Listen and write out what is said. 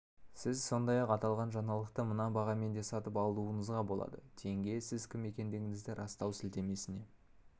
сіз сондай-ақ аталған жаңалықты мына бағамен де сатып алуыңызға болады тенге сіз кім екендігіңізді растау сілтемесіне